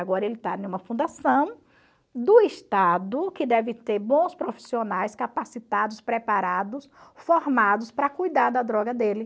Agora ele está em uma fundação do Estado que deve ter bons profissionais capacitados, preparados, formados para cuidar da droga dele.